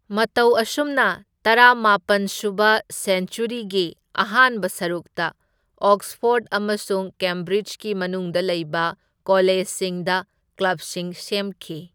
ꯃꯇꯧ ꯑꯁꯨꯝꯅ ꯇꯔꯥꯃꯥꯄꯟꯁꯨꯕ ꯁꯦꯟꯆ꯭ꯋꯔꯤꯒꯤ ꯑꯍꯥꯟꯕ ꯁꯔꯨꯛꯇ ꯑꯣꯛꯁꯐꯣꯔꯗ ꯑꯃꯁꯨꯡ ꯀꯦꯝꯕ꯭ꯔꯤꯖꯀꯤ ꯃꯅꯨꯡꯗ ꯂꯩꯕ ꯀꯣꯂꯦꯖꯁꯤꯡꯗ ꯀ꯭ꯂꯕꯁꯤꯡ ꯁꯦꯝꯈꯤ꯫